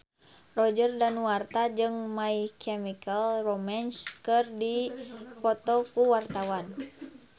Roger Danuarta jeung My Chemical Romance keur dipoto ku wartawan